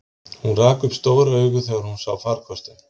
Hún rak upp stór augu þegar hún sá farkostinn.